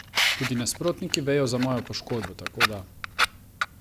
Tudi nasprotniki vejo za mojo poškodbo, tako da...